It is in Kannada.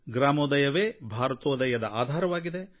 ಗ್ರಾಮೋದಯವೇ ಭಾರತೋದಯದ ಆಧಾರವಾಗಿದೆ